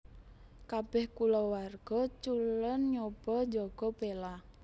Kabèh kulawarga Cullen nyoba njaga Bella